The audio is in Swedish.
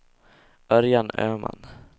Örjan Öhman